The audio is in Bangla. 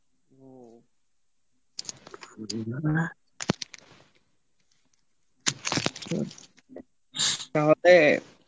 তাহলে